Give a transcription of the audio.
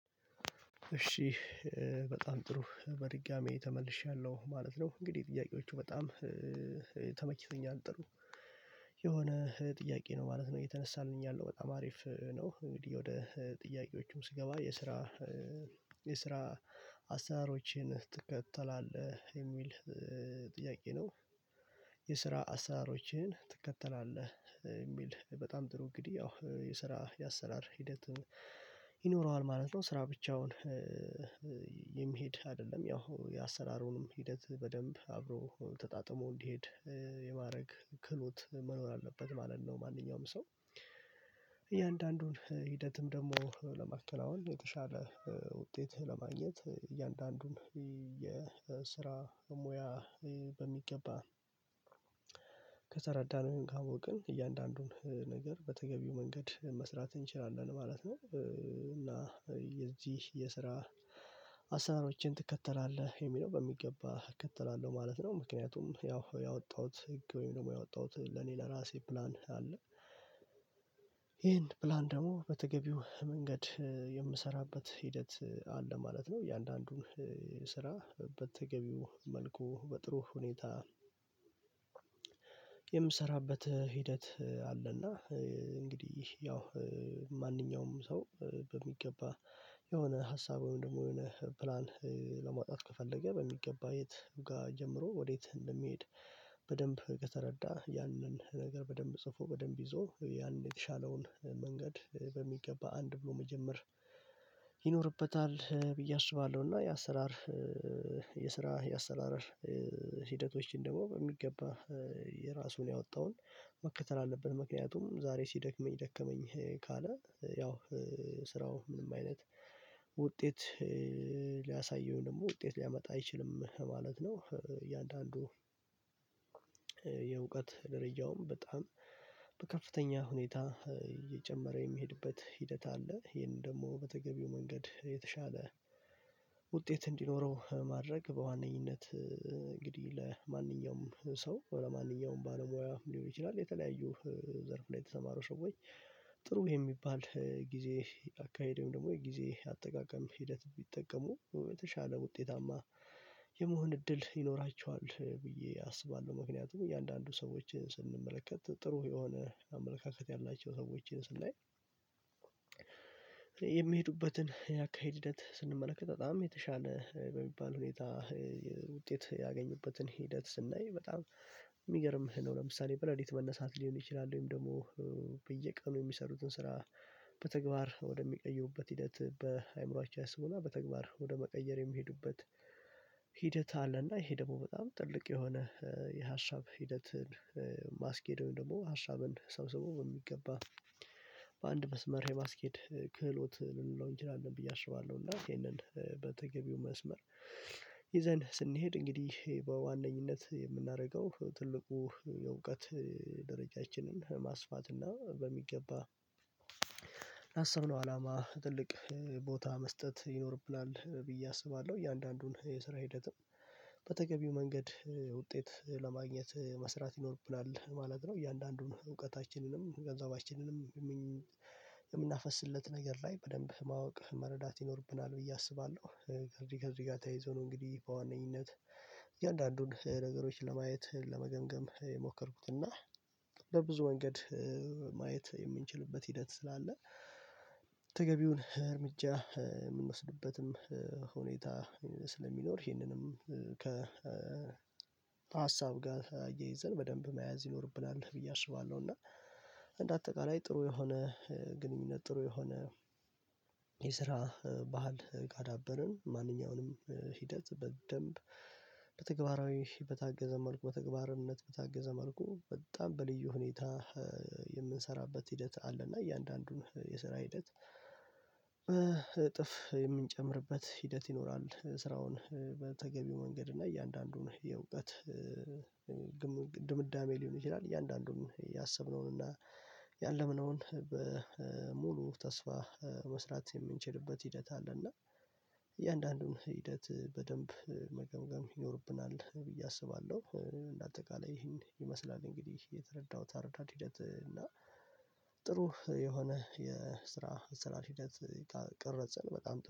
እሺ በጣም ጥሩ በድጋሚ ተመልሻለሁ ማለት ነው። እንግዲህ ጥያቄዎቹ በጣም ጥሩ የሆነ ጥያቄ ነው ማለት ነው። የተነሳልኝ ያለው በጣም አሪፍ ነው። እንግዲህ ወደ ጥያቄዎቹም ስገባ የስራ የስራ አሰራሮችን ትከተላለህ የሚል ጥያቄ ነው? የስራ አሰሳሮችህን ትከተላለህ ሚል በጣም ጥሩ እንግዲህ ያው የስራ የአሰራር ሂደትን ይኖረዋል ማለት ነው። ስራ ብቻውን የሚሄድ አይደለም ያው የአሰራሩንም ሂደት በደንብ አብሮ ተጣጥሞ እንዲሄድ የማረግ ክህሎት መኖር አለበት ማለት ነው። ማንኛውም ሰው እያንዳንዱን ሂደትም ደግሞ ለመከናወን የተሻለ ውጤት ለማግኘት እያንዳንዱን የስራ ሙያ በሚገባ ከተረዳነው ወይሞ ካወቅን እያንዳንዱን ነገር በተገቢው መንገድ መስራት እንችላለን ማለት ነው። እና የዚህ የስራ አሰራሮችን ትከተላለህ የሚለው በሚገባ እከተላለሁ ማለት ነው። ምክንያቱም ያው ያወጣሁት ህግ ወይም ደግሞ ያወጣሁት ለኔ ለራሴ ፕላን አለ። ይሄን ፕላን ደግሞ በተገቢው መንገድ የምሰራበት ሂደት አለ ማለት ነው። እያንዳንዱን ስራ በተገቢው መልኩ በጥሩ ሁኔታ የምሰራበት ሂደት አለና። እንግዲህ ያው ማንኛውም ሰው በሚገባ የሆነ ሀሳብ ወይም ደግሞ የሆነ ፕላን ለማውጣት ከፈለገ በሚገባ የት ጋ ጀምሮ ወዴት እንደሚሄድ በደንብ ከተረዳ ያንን ነገር በደንብ ጽፎ በደንብ ይዞ ያን የተሻለውን መንገድ በሚገባ አንድ ብሎ መጀመር ይኖርበታል ብዬ አስባለሁ። እና የአሰራር የስራ የአሰራር ሂደቶችን ደግሞ በሚገባ የራሱን ያወጣውን መከተል አለብን ምክንያቱም ዛሬ ሲደክመኝ ደከመኝ ካለ ያው ስራው ምንም አይነት ውጤት ሊያሳየው ወይም ደግሞ ውጤት ሊያመጣ አይችልም ለማለት ነው። እያንዳንዱ ደረጃውም በጣም በከፍተኛ ሁኔታ እየጨመረ የሚሄድበት ሂደት አለ ይሄንን ደግሞ በተገቢው መንገድ የተሻለ ውጤት እንዲኖረው ማድረግ በዋነኝነት እንግዲህ ለማንኛውም ሰው ለማንኛውም ባለሙያ ሊሆን ይችላል። የተለያዩ ዘርፍ ላይ የተሰማሩ ሰዎች ጥሩ የሚባል ጊዜ አካሄድ ወይም ደግሞ የጊዜ አጠቃቀም ሂደት ቢጠቀሙ በተሻለ ውጤታማ የመሆን እድል ይኖራቸዋል ብዬ አስባለሁ። ምክንያቱም እያንዳንዱ ሰዎችን ስንመለከት ጥሩ የሆነ አመለካከት ያላቸው ሰዎችን ስናይ የሚሄዱበትን ያካሄድ ሂደት ስንመለከት በጣም የተሻለ በሚባል ሁኔታ ውጤት ያገኙበትን ሂደት ስናይ በጣም የሚገርምህ ነው። ለምሳሌ በሌሊት መነሳት ሊሆን ይችላል ወይም ደግሞ በየቀኑ የሚሰሩትን ስራ በተግባር ወደሚቀይሩበት ሂደት በአእምሮአየው ያስቡና በተግባር ወደ መቀየር የሚሄዱበት ሂደት አለና ይሄ ደግሞ በጣም ትልቅ የሆነ የሀሳብ ሂደትን ማስኬድ ወይም ደግሞ ሀሳብን ሰብስቦ በሚገባ በአንድ መስመር የማስኬድ ክህሎት ልንለው እንችላለን ብዬ አስባለሁ። እና ይሄንን በተገቢው መስመር ይዘን ስንሄድ እንግዲህ በዋነኝነት የምናደርገው ትልቁ የእውቀት ደረጃችንን ማስፋት እና በሚገባ ካሰብነው አላማ ትልቅ ቦታ መስጠት ይኖርብናል ብዬ አስባለሁ። እያንዳንዱን የስራ ሂደትም በተገቢው መንገድ ውጤት ለማግኘት መስራት ይኖርብናል ማለት ነው። እያንዳንዱን እውቀታችንንም ገንዘባችንንም የምናፈስለት ነገር ላይ በደንብ ማወቅ መረዳት ይኖርብናል ብዬ አስባለሁ። ከዚህ ከዚህ ጋር ተይዞ ነው። እንግዲህ በዋነኝነት እያንዳንዱን ነገሮች ለማየት ለመገምገም የሞከርኩት እና በብዙ መንገድ ማየት የምንችልበት ሂደት ስላለ ተገቢውን እርምጃ የምንወስድበትም ሁኔታ ስለሚኖር ይሄንንም ከ ሀሳብ ጋር አያይዘን በደንብ መያዝ ይኖርብናል ብዬ አስባለሁ። እና እንደ አጠቃላይ ጥሩ የሆነ ግንኙነት ጥሩ የሆነ የስራ ባህል ካዳበርን ማንኛውንም ሂደት በደንብ በተግባራዊ በታገዘ መልኩ በተግባርነት በታገዘ መልኩ በጣም በልዩ ሁኔታ የምንሰራበት ሂደት አለና እያንዳንዱን የሰራ ሂደት በእጥፍ የምንጨምርበት ሂደት ይኖራል። ስራውን በተገቢው መንገድ እና እያንዳንዱን የእውቀት ድምዳሜ ሊሆን ይችላል እያንዳንዱን ያሰብነውን እና ያለምነውን በሙሉ ተስፋ መስራት የምንችልበት ሂደት አለና እያንዳንዱን ሂደት በደንብ መገምገም ይኖርብናል ብዬ አስባለሁ። እንደ አጠቃላይ ይሄን ይመስላል እንግዲህ የተረዳሁት አረዳድ ሂደት እና ጥሩ የሆነ የስራ አሰራር ሂደት ካልቀረፅን በጣም